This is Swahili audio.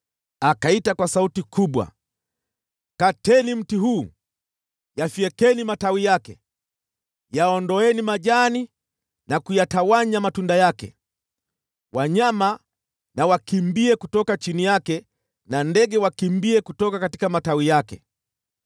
Akaita kwa sauti kubwa: ‘Kateni mti huu, myafyeke matawi yake; yaondoeni majani yake na kuyatawanya matunda yake. Wanyama na wakimbie kutoka chini yake na ndege waondoke kutoka matawi yake.